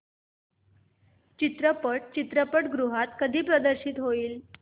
चित्रपट चित्रपटगृहात कधी प्रदर्शित होईल